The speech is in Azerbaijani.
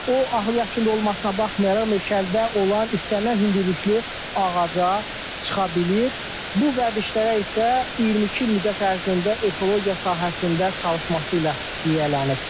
O ahıl yaşında olmasına baxmayaraq meşələrdə olan istənilən hündürlüklü ağaca çıxa bilir, bu vərdişlərə isə 22 il müddət ərzində ekologiya sahəsində çalışması ilə yiyələnib.